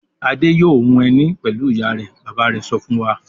"Adé yóò hun ẹní pẹ̀lú ìyá rẹ̀!" Bàbá rẹ̀ sọ fún wa.